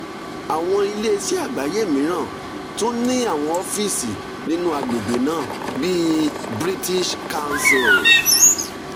àwọn iléeṣẹ́ àgbáyé mìíràn tún ní àwọn ọ́fíìsì nínú àgbègbè náà bí british council.